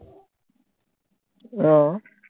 আহ